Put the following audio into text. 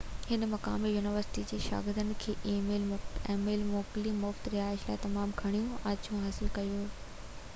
هن مقامي يونيورسٽي جي شاگردن کي اِي ميل موڪلي ۽ مُفت رهائش لاءِ تمام گهڻيون آڇُون حاصل ڪيون